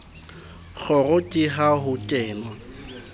kgoro ke ha ho kenwa